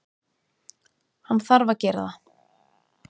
Hann þarf að gera það.